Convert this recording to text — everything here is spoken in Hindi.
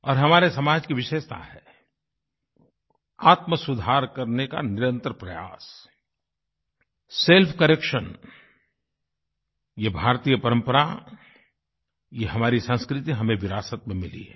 और हमारे समाज की विशेषता है आत्मसुधार करने का निरंतर प्रयास सेल्फकरेक्शन ये भारतीय परम्परा ये हमारी संस्कृति हमें विरासत में मिली है